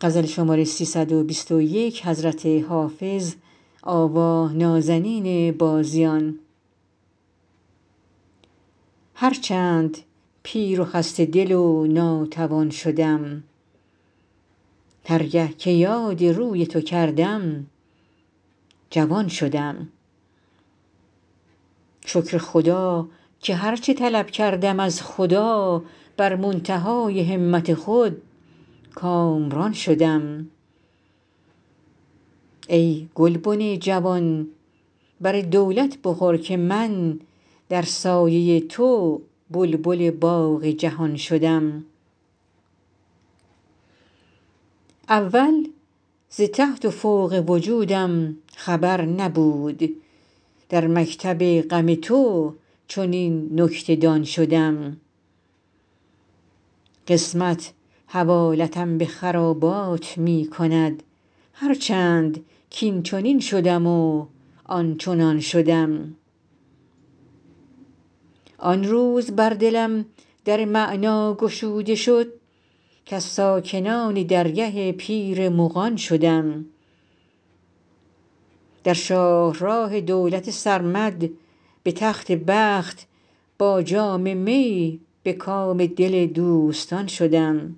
هر چند پیر و خسته دل و ناتوان شدم هر گه که یاد روی تو کردم جوان شدم شکر خدا که هر چه طلب کردم از خدا بر منتهای همت خود کامران شدم ای گلبن جوان بر دولت بخور که من در سایه تو بلبل باغ جهان شدم اول ز تحت و فوق وجودم خبر نبود در مکتب غم تو چنین نکته دان شدم قسمت حوالتم به خرابات می کند هر چند کاینچنین شدم و آنچنان شدم آن روز بر دلم در معنی گشوده شد کز ساکنان درگه پیر مغان شدم در شاه راه دولت سرمد به تخت بخت با جام می به کام دل دوستان شدم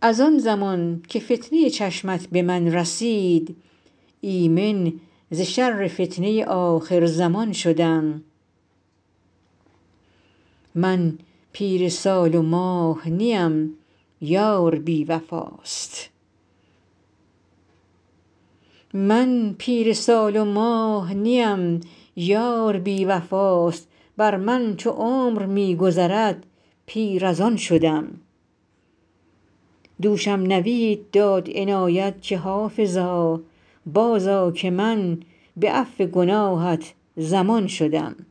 از آن زمان که فتنه چشمت به من رسید ایمن ز شر فتنه آخرزمان شدم من پیر سال و ماه نیم یار بی وفاست بر من چو عمر می گذرد پیر از آن شدم دوشم نوید داد عنایت که حافظا بازآ که من به عفو گناهت ضمان شدم